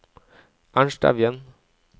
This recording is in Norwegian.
Ernst Evjen